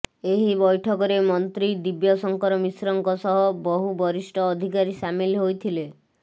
ଏହି ବୈଠକରେ ମନ୍ତ୍ରୀ ଦିବ୍ୟ ଶଙ୍କର ମିଶ୍ରଙ୍କ ସହ ବହୁ ବରିଷ୍ଠ ଅଧିକାରୀ ସାମିଲ ହୋଇଥିଲେ